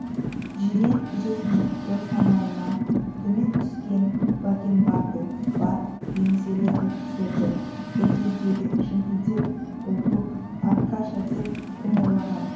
жирен жез мұртты самайынан төмен түскен бакенбарды бар еңселі офицерді бір кездегі шіңкілдек болпық аркаша деп кім ойлаған